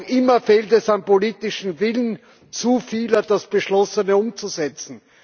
Noch immer fehlt es am politischen Willen zu vieler, das Beschlossene umzusetzen.